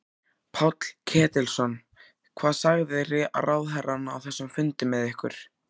Páll Ketilsson: Hvað sagði ráðherrann á þessum fundi með ykkur?